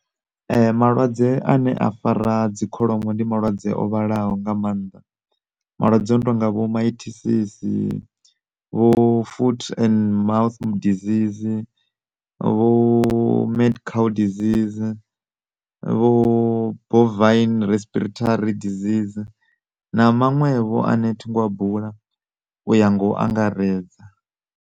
Malwadze ane a fara dzi kholomo ndi malwadze o vhalaho nga maanḓa malwadze ono tonga vho Mitosis vho foot and mouth disease vho midcow disease vho bovine respiratory disease na maṅwevho ane thingo a bula u ya ngo angaredza.